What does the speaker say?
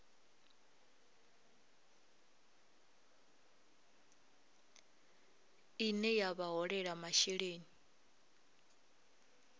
ine ya vha holela masheleni